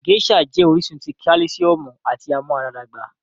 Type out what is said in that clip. Geisha jẹ oríṣun tí kálìsíọ̀mù àti amuaradagba.